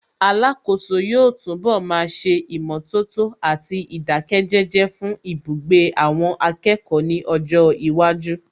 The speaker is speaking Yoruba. Alákòóso yóò túnbọ̀ máa ṣe ìmọ̀tótó àti ìdáké jẹ́jẹ́ fún ibugbe àwọn akẹ́kọ̀ọ́ ní ọjọ́ iwájú